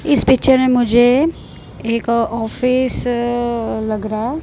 इस पिक्चर में मुझे एक ऑफिस अ लग रहा है।